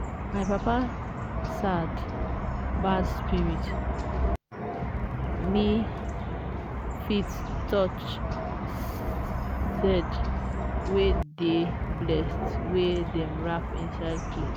my papa sad bad spirit ni fit touch sed wey dey blessed wey dem wrap inside clothe